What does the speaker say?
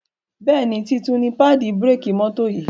Béèni títún ní paadi bírékì mọ́tò yì.